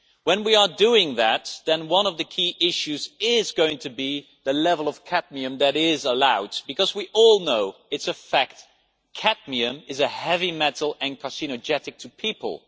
When we are doing that, then one of the key issues is going to be the level of cadmium that is allowed because we all know, it is a fact cadmium is a heavy metal and carcinogenic to people.